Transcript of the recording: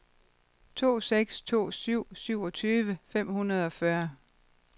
to seks to syv syvogtyve fem hundrede og fyrre